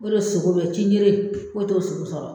O de sogo be cinjere foye t'o sogo sɔrɔ